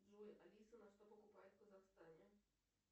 джой алиса на что покупают в казахстане